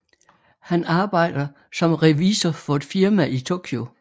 Han arbejder som revisor for et firma i Tokyo